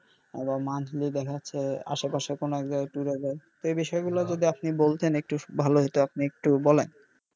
আবার monthly দেখা যাচ্ছে আসে পাশে কোনো এক জায়গায় tour এ যায় এই বিষয় গুলো যদি আপনি বলতেন একটু ভালো হইতো আপনি একটু বলেন.